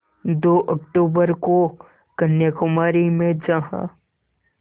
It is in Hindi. दो अक्तूबर को कन्याकुमारी में जहाँ